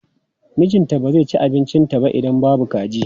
Mijinta ba zai ci abincinta ba idan babu kaji.